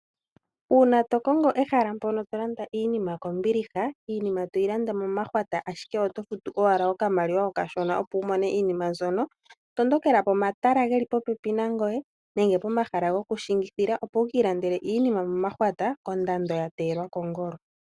Uuna tokongo ehala mpono tolanda iinima kombiliha, iinima toyi landa momahwata, ashike oto futu owala okamaliwa kashona opo wumone iinima mbyono, tondokela pomatala ge li popepi nangweye, nenge pomahala gokushiingithila, opo wukiilandele iinima momahwata, kondando ya teyelwa kongolo.